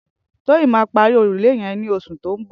Toyin mà pàrí órúlé yen ni óṣú tó n bọ̀